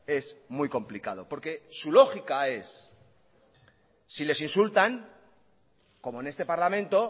es muy complicado porque su lógica es si les insultan como en este parlamento